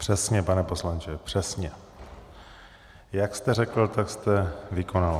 Přesně, pane poslanče, přesně jak jste řekl, tak jste vykonal.